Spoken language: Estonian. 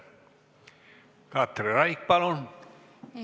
Katri Raik, palun!